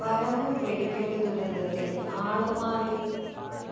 പരവൂര് വെടിക്കെട്ട് ദുരന്തത്തില് ആളുമാറി